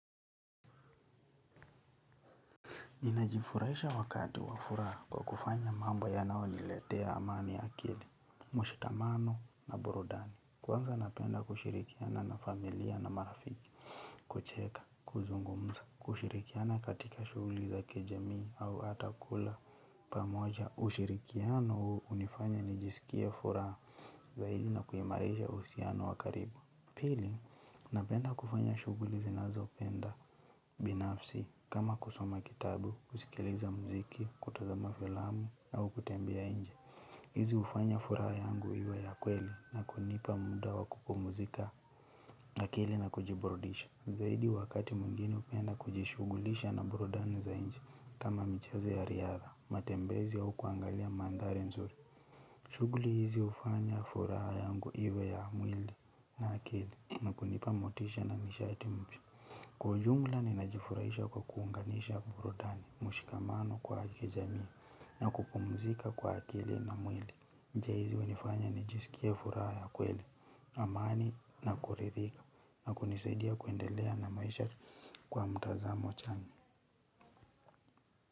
Ninajifurahisha wakati wa furaha kwa kufanya mambo yanayoniletea amani ya akili, mshikamano na burudani. Kwanza napenda kushirikiana na familia na marafiki, kucheka, kuzungumza, kushirikiana katika shughuli za kijamii au ata kula pamoja. Ushirikiano hunifanya nijisikie furaha zaidi na kuimarisha uhusiano wa karibu. Pili na penda kufanya shughuli zinazo penda binafsi kama kusoma kitabu, kusikiliza mziki, kutazama filamu au kutembea inje. Hizi hufanya furaha yangu iwe ya kweli na kunipa muda wa kupumzika akili na kujiburudisha. Zaidi wakati mwingine hupenda kujishughulisha na burudani za inje kama michezo ya riadha, matembezi au kuangalia mandhari nzuri. Shughuli hizi hufanya furaha yangu iwe ya mwili na akili na kunipa motisha na nishati mpya kwa ujumla ni najifurahisha kwa kuunganisha burudani, mshikamano kwa kijamii na kupumzika kwa akili na mwili. Njia hizi hunifanya nijisikie furaha ya kweli, amani na kuridhika na kunisidia kuendelea na maisha kwa mtazamo chanya.